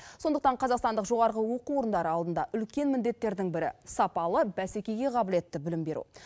сондықтан қазақстандық жоғарғы оқу орындары алдында үлкен міндеттердің бірі сапалы бәсекеге қабілетті білім беру